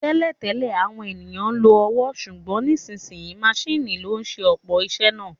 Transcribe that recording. Tẹ́lẹ̀ tẹ́lẹ̀, àwọn ènìyàn lo ọwọ́, ṣùgbọ́n nísinsìnyí maṣíìnì ló ń ṣe ọ̀pọ̀ iṣẹ́ náà